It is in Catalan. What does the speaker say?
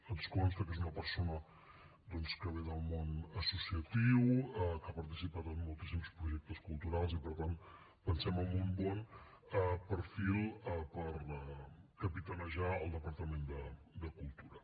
ens consta que és una persona doncs que ve del món associatiu que ha participat en moltíssims projectes culturals i per tant pensem en un bon perfil per capitanejar el departament de cultura